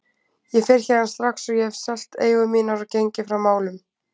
Ég fer héðan strax og ég hef selt eigur mínar og gengið frá málum.